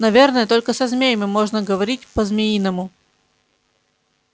наверно только со змеями можно говорить по-змеиному